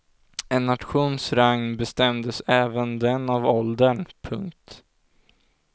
En nations rang bestämdes även den av åldern. punkt